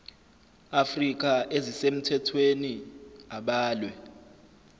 afrika ezisemthethweni abalwe